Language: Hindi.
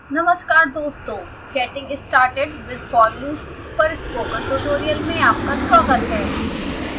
नमस्कार दोस्तों getting started with for loops पर स्पोकन ट्यूटोरियल में आपका स्वागत है